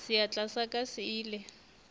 seatla sa ka se ile